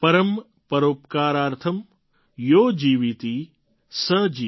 परम् परोपकारार्थम् यो जीवति स जीवति